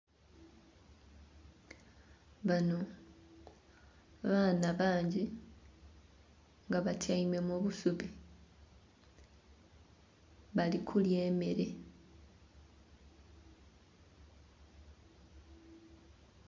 Bano baana bangi nga batyaime mu busubi bali kulya emere.